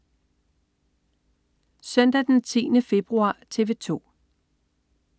Søndag den 10. februar - TV 2: